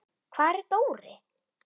Hvar er Dóri?